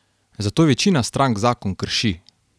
Zato večina strank zakon krši.